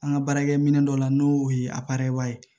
An ka baarakɛminɛ dɔ la n'o ye ye